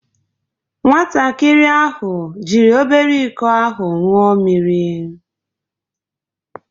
Nwatakịrị ahụ jiri obere iko ahụ ṅụọ mmiri.